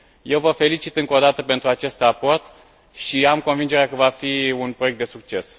Eu vă felicit încă o dată pentru acest raport și am convingerea că va fi un proiect de succes.